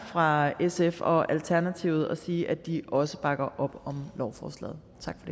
fra sf og alternativet og sige at de også bakker op om lovforslaget